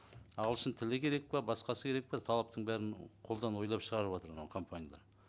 ағылшын тілі керек пе басқасы керек пе талаптың бәрін қолдан ойлап шығарыватыр мынау компаниялар